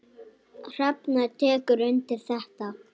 Hrefna tekur undir þetta.